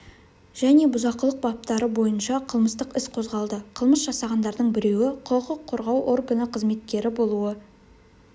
және бұзақылық баптары бойынша қылмыстық іс қозғалды қылмыс жасағандардың біреуі құқық қорғау органы қызметкері болуы